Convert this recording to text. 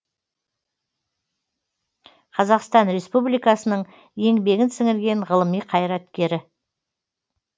қазақстан республикасыныңның еңбегін сіңірген ғылыми қайраткері